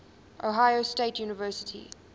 ohio state university